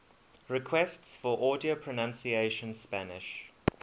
requests for audio pronunciation spanish